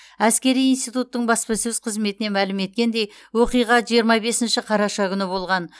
әскери институттың баспасөз қызметінен мәлім еткендей оқиға жиырма бесінші қараша күні болған